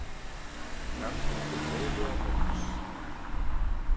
Kannski til eilífðarnóns.